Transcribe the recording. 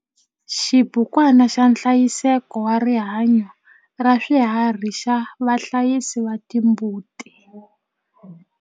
Xibukwana xa nhlayiseko wa rihanyo ra swiharhi xa vahlayisi va timbuti.